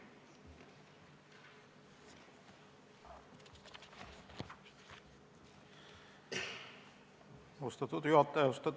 Austatud juhataja!